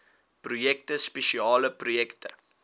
projekte spesiale projekte